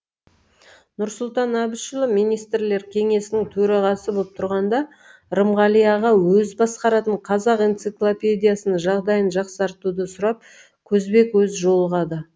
нұрсұлтан әбішұлы министрлер кеңесінің төрағасы боп тұрғанда рымғали аға өзі басқаратын қазақ энциклопедиясының жағдайын жақсартуды сұрап көзбе көз жолығады